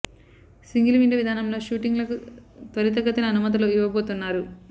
single window విధానంలో shooting లకు త్వరితగతిన అనుమతులు ఇవ్వబోతున్నారు